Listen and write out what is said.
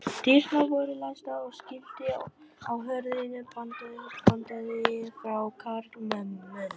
Dyrnar voru læstar og skilti á hurðinni bandaði frá karlmönnum.